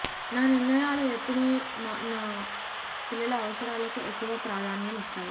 నా నిర్ణయాలు ఎప్పుడూ నా పిల్లల అవసరాలకు ఎక్కువ ప్రాధాన్యం ఇస్తాయి